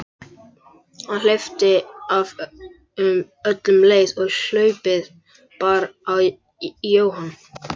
Hann hleypti af um leið og hlaupið bar í Jóhann.